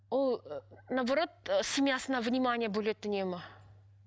ол ы наоборот ы семьясына внимание бөледі үнемі